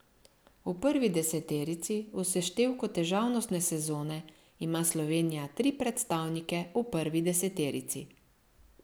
V prvi deseterici v seštevku težavnostne sezone ima Slovenija tri predstavnike v prvi deseterici.